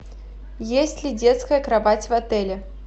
есть ли детская кровать в отеле